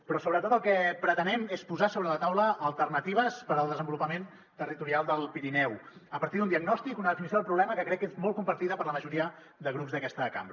però sobretot el que pretenem és posar sobre la taula alternatives per al desenvolupament territorial del pirineu a partir d’un diagnòstic una definició del problema que crec que és molt compartida per la majoria de grups d’aquesta cambra